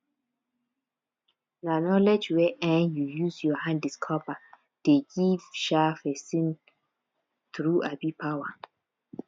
na knowledge wey um you use your hand discover dey give um person true um power